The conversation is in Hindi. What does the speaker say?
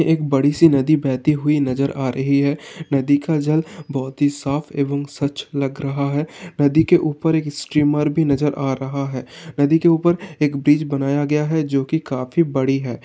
एक बड़ी सी नदी बहती हुई नजर आ रही है। नदी का जल बोहोत ही साफ़ एवं स्वच्छ लग रहा है नदी के ऊपर एक स्टीमर भी नजर आ रहा है नदी के ऊपर एक ब्रिज बनाया गया है जोकि काफी बड़ी है।